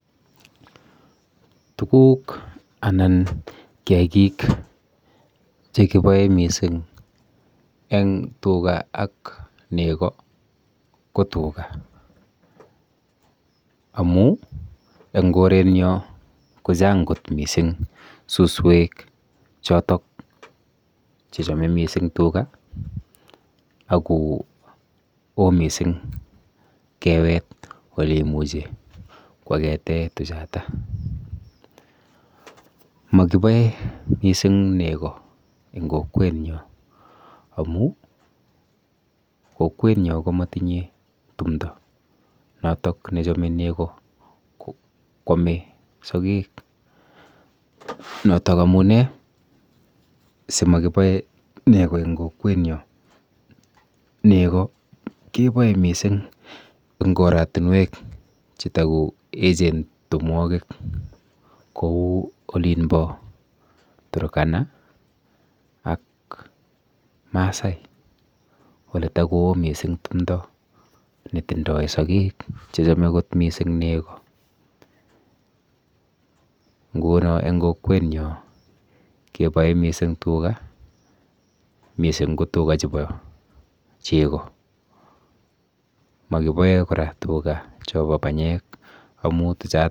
Tuguk anan kiakik chekiboe mising eng tuga ak nego ko tuga amu eng korenyo kochang kot mising suswek chotok chechome mising tuga ako o mising kewet oleimuchi kwakete tuchata. makiboe mising nego eng kokwenyo amu kokwenyo ko makitinye tumdo notok nechome nego kwome sogek, notok amune simakiboe nego eng kokwenyo. Nego keboe mising eng korotinwek chetakoechen tumwokik kou olinpo turkana ak masai oletakoo mising tumdo netindoi sogek chechome kot mising nego. Nguno eng kokwenyo keboe mising tuga mising ko tuga chepo chego. Mokiboe kora tuga chopo banyek amu tuchat...